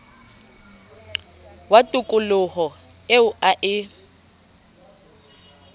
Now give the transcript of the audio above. wa tokoloho eo a e